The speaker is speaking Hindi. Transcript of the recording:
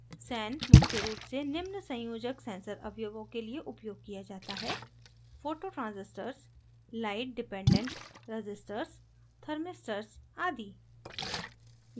sen मुख्य रूप से निम्न संयोजक sensor अवयवों के लिए उपयोग किया जाता है